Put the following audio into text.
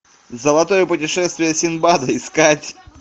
золотое путешествие синдбада искать